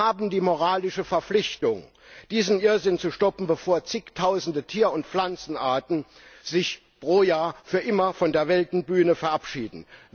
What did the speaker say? Wir haben die moralische Verpflichtung, diesen Irrsinn zu stoppen, bevor Zigtausende Tier und Pflanzenarten sich jedes Jahr für immer von der Weltbühne verabschieden.